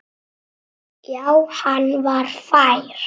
Já, hann var fær!